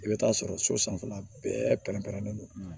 I bɛ taa sɔrɔ so sanfɛla bɛɛ pɛrɛn pɛrɛnnen don